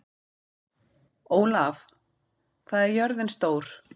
Ólaf, hvað er jörðin stór?